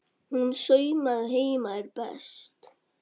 Hún saumaði heima er best.